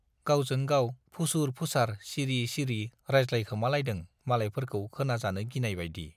गावजों-गाव फुसुर-फुसार सिरि सिरि राजज्लायखोमालायदों मालायफोरखौ खोनाजानो गिनायबाइदि।